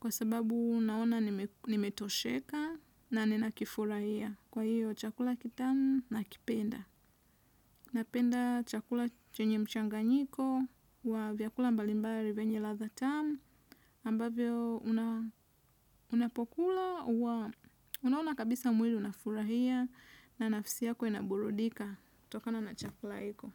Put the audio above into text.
kwa sababu naona nimetosheka na nina kifurahia kwa hiyo chakula kitamu na kipenda. Napenda chakula chenye mchanganyiko wa vyakula mbalimbali venye radha tamu ambavyo unapokula, huwa unaona kabisa mwili unafurahia na nafsi yako inaburudika tokana na chakula hiko.